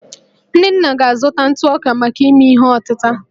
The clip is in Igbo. nnenna ga-azụta ntụ ọka maka ime ihe ọtịta